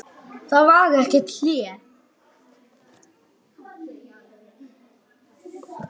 Það var ekkert hlé.